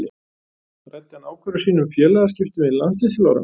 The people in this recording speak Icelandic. Ræddi hann ákvörðun sína um félagaskiptin við landsliðsþjálfarana?